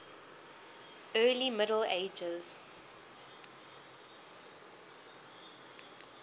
early middle ages